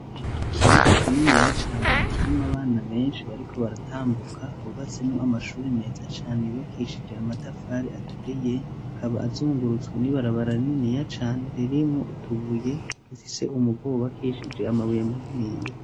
Ikibuga kininiya cane kirimwo abana benshi bariko baratambuka hubaseno amashuri meza cane yubakishije amatafari aturiye akaba azungurutswe ni barabaraneniya cane lerimo utubuye si se umuvubakishije amabuye munwiye.